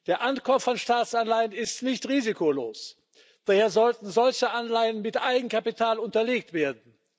Der Ankauf von Staatsanleihen ist nicht risikolos, daher sollten solche Anleihen mit Eigenkapital unterlegt werden.